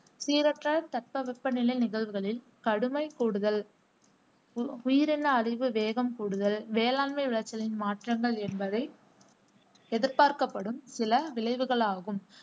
சீரற்ற தட்பவெப்பநிலை நிகழ்வுகளின் கடுமை கூடுதல், உ உயிரின அழிவு வேகம் கூடுதல், வேளாண்மை விளைச்சளின் மாற்றங்கள் என்பவை எதிர்பார்க்கப்படும் சில விளைவுகளாகும்.